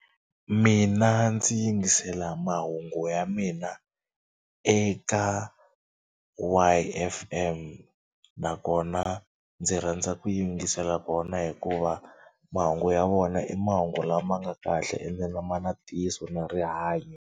Mina ndzi yingisela mahungu ya mina eka Y_F_M nakona ndzi rhandza ku yingisela kona hikuva mahungu ya vona i mahungu lama nga kahle ende ma na ntiyiso na rihanyo.